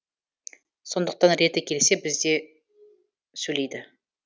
сондықтан реті келсе бізде сөйлейді